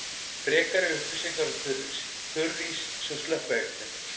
Frekari upplýsingar um þurrís: Þurrís sem slökkviefni.